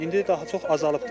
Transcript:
İndi daha çox azalıbdır.